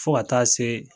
Fo ka taa se